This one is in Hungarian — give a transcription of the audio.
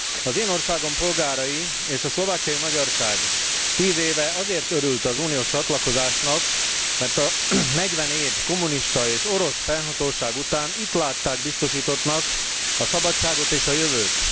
Az én országom polgárai és a szlovákiai magyarság tíz éve azért örült az uniós csatlakozásnak, mert a negyven év kommunista és orosz fennhatóság után itt látták biztosítottnak a szabadságot és a jövőt.